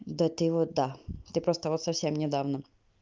да ты вот да ты просто вот совсем недавно